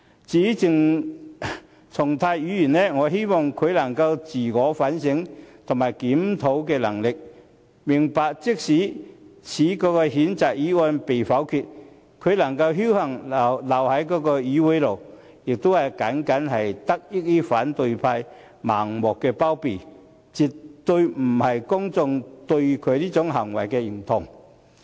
至於鄭松泰，我希望他能夠有自我反省和檢討的能力，明白即使此譴責議案被否決，他能夠僥幸留在議會內，也僅僅是得益於反對派盲目包庇，而絕不是公眾對他這種行為的認同。